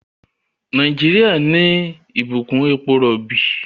Nàìjíríà ní Ìbùkún èpo robi.